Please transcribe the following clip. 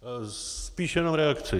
Spíš jenom reakci.